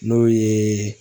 N'o ye